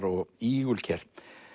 og ígulker